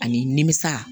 Ani nimisa